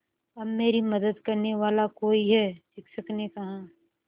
अब मेरी मदद करने वाला कोई है शिक्षक ने कहा